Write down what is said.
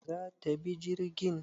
zata bi jirgin?